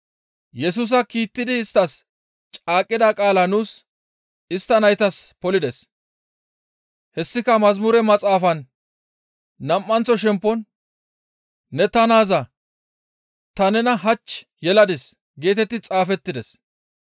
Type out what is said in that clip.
Yesusa kiittidi isttas caaqqida qaalaa nuus istta naytas polides; hessika mazamure maxaafan nam7anththo shempon, ‹Ne ta naaza; ta nena hach yeladis› geetetti xaafettides.